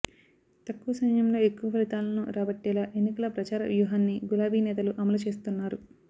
తక్కువ సమయంలో ఎక్కువ ఫలితాలను రాబట్టేలా ఎన్నికల ప్రచార వ్యూహాన్ని గులాబీ నేతలు అమలు చేస్తున్నారు